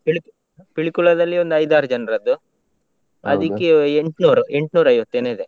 Pilik~ Pilikula ದಲ್ಲಿ ಒಂದ್ ಐದಾರು ಜನ್ರದ್ದು, ಎಂಟ್ನೂರು ಎಂಟ್ನೂರೈವತ್ತೇನೋ ಇದೆ.